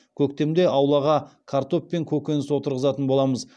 көктемде аулаға картоп пен көкөніс отырғызатын боламыз